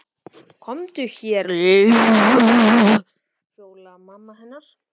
Komdu hérna Lilla mín kallaði Fjóla mamma hennar.